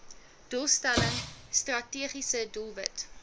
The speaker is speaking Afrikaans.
doelstelling strategiese doelwit